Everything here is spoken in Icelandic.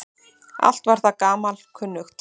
Allt var það gamalkunnugt.